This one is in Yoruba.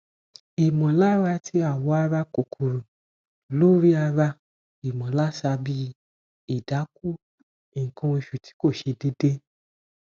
imọlara ti awo ara kokoro lori ara imolarsa bi idaku ikan osu ti ko se deede